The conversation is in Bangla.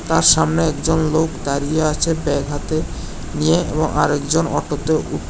তার সামনে একজন লোক দাঁড়িয়ে আছে ব্যাগ হাতে নিয়ে এবং আরেকজন অটোতে উঠ--